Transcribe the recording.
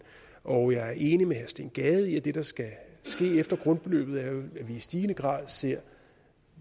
og jeg er enig med herre steen gade i at det der skal ske efter grundbeløbet at vi i stigende grad ser